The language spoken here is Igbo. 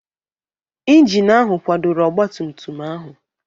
Injin ahụ kwadoro ọgba tum tum ahụ.